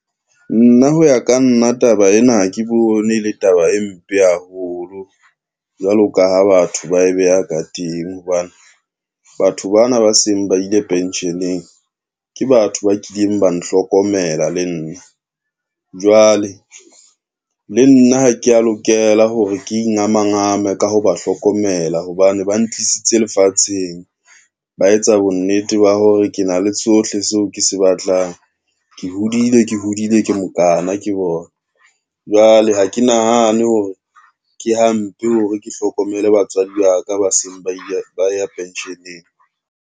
Nna ho ya ka nna taba ena ha ke bone le taba e mpe haholo, jwalo ka ha batho ba e beha ka teng hobane batho bana ba seng ba ile pension-eng ke batho ba kileng ba nhlokomela le nna. Jwale le nna ha kea lokela hore ke ingamangame ka ho ba hlokomela hobane ba ntlisitse lefatsheng, ba etsa bonnete ba hore ke na le tsohle seo ke se batlang, ke hodile, ke hodile ke mokaana ke bona. Jwale ha ke nahane hore ke hampe hore ke hlokomele batswadi ba ka ba seng ba ya pension-eng.